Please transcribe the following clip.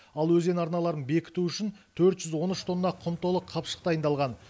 ал өзен арналарын бекіту үшін төрт жүз он үш тонна құм толы қапшық дайындалған